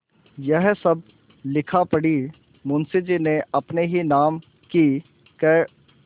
यह सब लिखापढ़ी मुंशीजी ने अपने ही नाम की क्